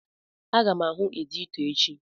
Aga m ahụ editọ echi.